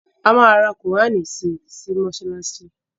A ma ra qùránì si sí mọ́ṣáláṣí